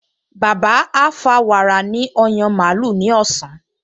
Bàbá á fa wàrà ní ọyàn màlúù ní ọ̀sán